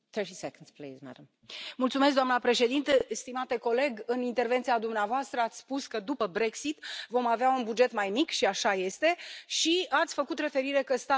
Stimate coleg, în intervenția dumneavoastră, ați spus că după Brexit vom avea un buget mai mic și așa este și ați făcut referire la faptul că statele membre, cetățenii, ar trebui să contribuie mai mult.